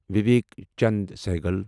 Vivek Chand Saigal